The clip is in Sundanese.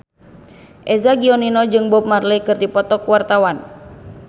Eza Gionino jeung Bob Marley keur dipoto ku wartawan